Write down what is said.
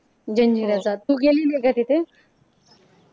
जंजिराचा. तू गेलेली आहे का तिथे?